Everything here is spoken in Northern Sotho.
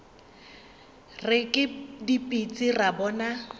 re ke dipitsi ra bona